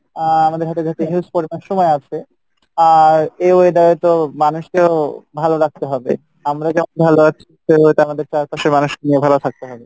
আহ আমাদের হাতে যেহেতু সময় আছে আহ এই weather এ তো মানুষকেও ভালো রাখতে হবে আমরা যেমন আমাদের চারপাশের মানুষকেও ভালো থাকতে হবে